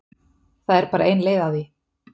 Það er bara ein leið að því